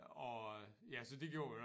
Og ja så det gjorde vi